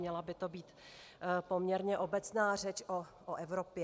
Měla by to být poměrně obecná řeč o Evropě.